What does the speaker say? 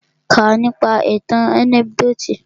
Kà nípa ìtàn ànẹ́kídòtì!